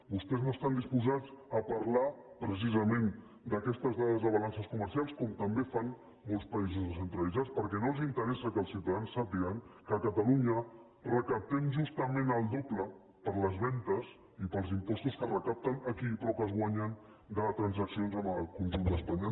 vostès no estan disposats a parlar precisament d’aquestes dades de balances comercials com també fan molts països descentralitzats perquè no els interessa que els ciutadans sàpiguen que a catalunya recaptem justament el doble per les vendes i pels impostos que es recapten aquí però que es guanyen de transaccions amb el conjunt d’espanya